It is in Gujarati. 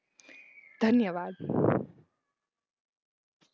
ધન્યવાદ.